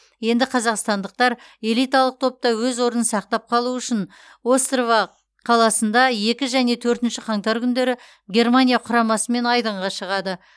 енді қазақстандықтар элиталық топта өз орнын сақтап қалу үшін острава қаласында екі және төртінші қаңтар күндері германия құрамасымен айдынға шығады